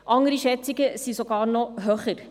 Andere Schätzungen sind sogar noch höher.